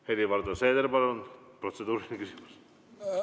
Helir-Valdor Seeder, palun, protseduuriline küsimus!